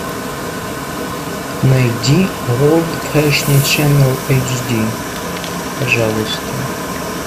найди ворлд фэшн ченнел эйч ди пожалуйста